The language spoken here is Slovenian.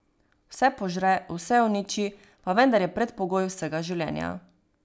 Vse požre, vse uniči, pa vendar je predpogoj vsega življenja.